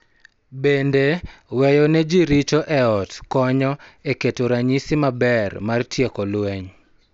Bende, weyo ne ji richo e ot konyo e keto ranyisi maber mar tieko lweny